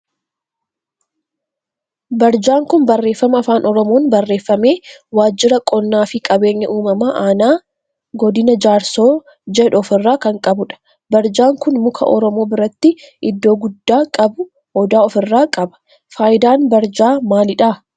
Barjaan kun barreeffama afaan oromoon barreeffame waajjira qonnaa fi qabeenya uumamaa aanaa G/jaarsoo jedhu of irraa kan qabudha. Barjaan kun muka oromoo birattii iddoo guddaa qabu odaa of irraa qaba. Faayidaan barjaa maalidha?